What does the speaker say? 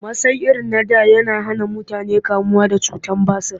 Masai irin na da yana hana mutane kamuwa da cutar basir